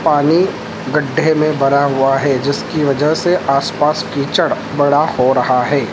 पानी गड्ढे में भरा हुआ है जिसकी वजह से आसपास कीचड़ बड़ा हो रहा है।